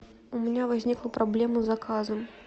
у меня возникла проблема с заказом